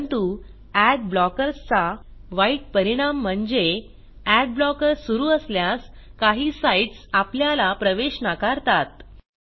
परंतु ad blockers चा वाईट परिणाम म्हणजे अड ब्लॉकर सुरू असल्यास काही साईटस आपल्याला प्रवेश नाकारतात